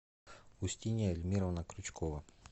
устинья эльмировна крючкова